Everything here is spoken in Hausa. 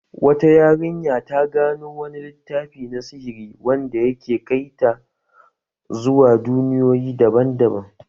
Wata yarinya ta gano wani littafi na sihiri wanda ya ke kai ta zuwa duniyoyi daban-daban.